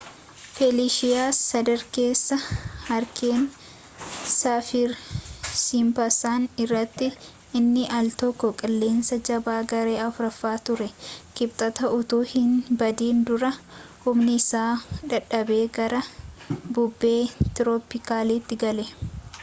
feliishiyaa sadarkeessa haariikeenii saafir-siimpsan irratti inni aal tokko qilleensa jabaa garee 4ffaa ture kibxata utuu hinbadin dura humni isaa dadhabee gara bubbee tirooppikaalaatti gale